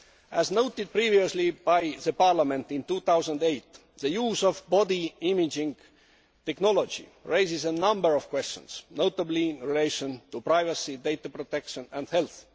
As noted previously by Parliament in 2008, the use of body imaging technology raises a number of questions, notably in relation to privacy, data protection and health.